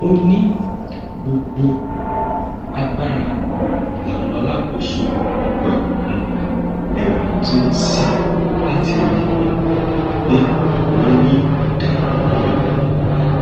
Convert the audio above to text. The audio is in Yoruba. ó ní gbogbo agbára làwọn alákòóso ọgbà um ẹwọn ti ń sà láti rí um i pé wọn rí ọdaràn náà mú